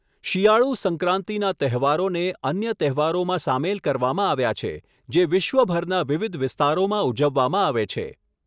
શિયાળું સંક્રાંતિનાં તહેવારોને અન્ય તહેવારોમાં સામેલ કરવામાં આવ્યા છે, જે વિશ્વભરના વિવિધ વિસ્તારોમાં ઉજવવામાં આવે છે.